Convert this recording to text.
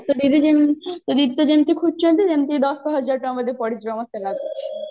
ତୋ ଦିଦି ଯେମିତି ତୋ ଦିଦି ତ ଯେମିତିକା ଖୋଜୁଛନ୍ତି ଯେମିତି ଦଶ ହଜାର ଟଙ୍କା ବୋଧେ ପଡିଯିବ ମତେ ଲାଗୁଛି